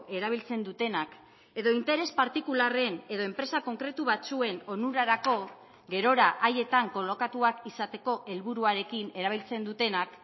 erabiltzen dutenak edo interes partikularren edo enpresa konkretu batzuen onurarako gerora haietan kolokatuak izateko helburuarekin erabiltzen dutenak